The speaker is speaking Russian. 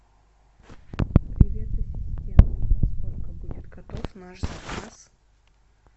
привет ассистент во сколько будет готов наш заказ